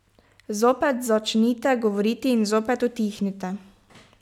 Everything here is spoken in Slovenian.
Zopet začnite govoriti in zopet utihnite.